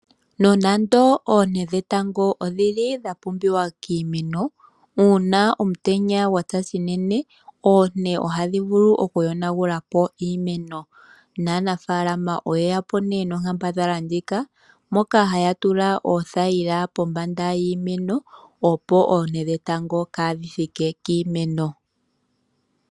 Nonando oonte dhetango odhili dha pumbiwa kiimeno ,uuna omutenya gwatsa unene oonte ohadhi vulu oku yonagulapo iimeno. Aanafaalama oyeyapo nee nonkambadhala ndjika moka haya tula oothayila pombanda yiimeno opo oonte dhetango kadhi thike kiimeno.